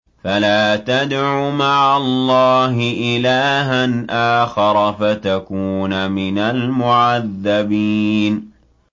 فَلَا تَدْعُ مَعَ اللَّهِ إِلَٰهًا آخَرَ فَتَكُونَ مِنَ الْمُعَذَّبِينَ